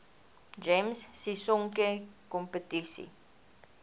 gems sisonke kompetisie